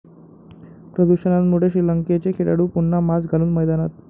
प्रदूषणामुळे श्रीलंकेचे खेळाडू पुन्हा मास्क घालून मैदानात